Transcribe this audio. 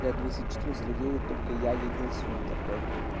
да две четырнадцать людей и только я единственный такой